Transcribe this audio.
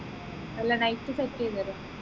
അല്ല night set ചെയ്തുതരോ